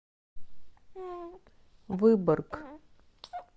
выборг